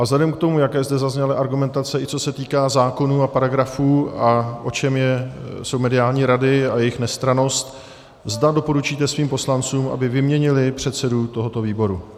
A vzhledem k tomu, jaké zde zazněly argumentace, i co se týká zákonů a paragrafů a o čem jsou mediální rady a jejich nestrannost, zda doporučíte svým poslancům, aby vyměnili předsedu tohoto výboru.